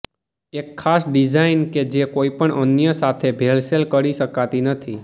એક ખાસ ડિઝાઇન કે જે કોઈપણ અન્ય સાથે ભેળસેળ કરી શકાતી નથી